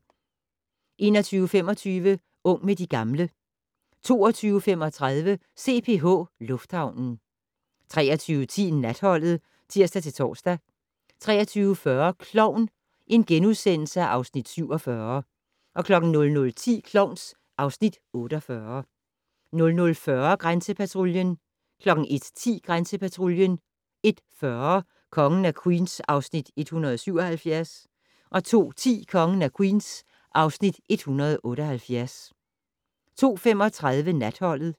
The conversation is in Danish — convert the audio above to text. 21:25: Ung med de gamle 22:35: CPH Lufthavnen 23:10: Natholdet (tir-tor) 23:40: Klovn (Afs. 47)* 00:10: Klovn (Afs. 48) 00:40: Grænsepatruljen 01:10: Grænsepatruljen 01:40: Kongen af Queens (Afs. 177) 02:10: Kongen af Queens (Afs. 178) 02:35: Natholdet